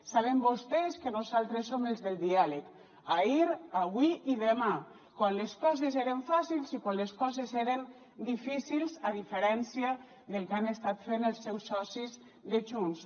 saben vostès que nosaltres som els del diàleg ahir avui i demà quan les coses eren fàcils i quan les coses eren difícils a diferència del que han estat fent els seus socis de junts